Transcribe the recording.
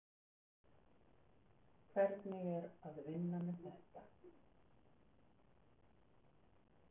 Hugrún Halldórsdóttir: Hvernig er að vinna með þetta?